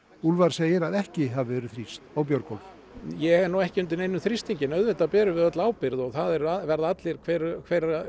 úlfar segir að ekki hafi verið þrýst á Björgólf ég er nú ekki undir neinum þrýstingi en auðvitað berum við öll ábyrgð og það verða allir hver hver